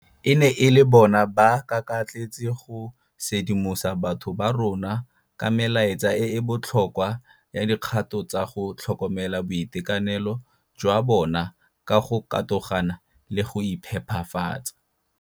E ne e le bona ba kakatletse go sedimosetsa batho ba rona ka melaetsa e e botlhokwa ya dikgato tsa go tlhokomela boitekanelo jwa bona ka go katogana le go iphepafatsa.